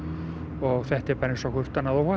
og þetta er bara eins og hvert annað óhapp